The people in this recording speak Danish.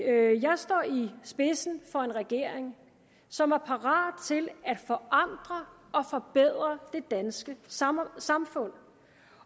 spidsen for en regering som var parat til at forandre og forbedre det danske samfund